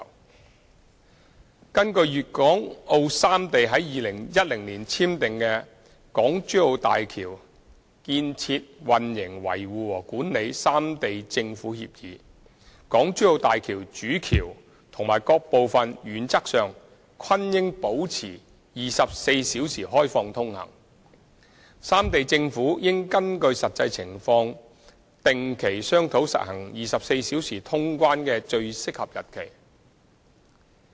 二根據粵港澳三地於2010年簽訂的《港珠澳大橋建設、運營、維護和管理三地政府協議》，大橋主橋及各部分原則上均應保持24小時開放通行，三地政府應根據實際情況定期商討實行24小時通關的最合適日期。